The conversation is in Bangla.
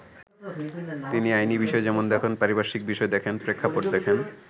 তিনি আইনি বিষয় যেমন দেখেন, পারিপার্শ্বিক বিষয় দেখেন, প্রেক্ষাপট দেখেন।